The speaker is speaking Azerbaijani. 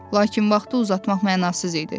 Lakin vaxtı uzatmaq mənasız idi.